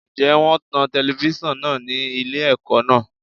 Ǹjẹ́ wón ń tan telifíṣàn náà ni ilé ẹ̀kọ́ náà?